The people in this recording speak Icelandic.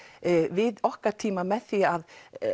við okkar tíma með því að